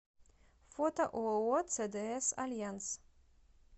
фото ооо цдс альянс